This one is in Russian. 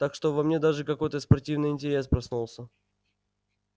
так что во мне даже какой-то спортивный интерес проснулся